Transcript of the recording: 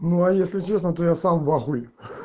ну а если честно то я сам в ахуе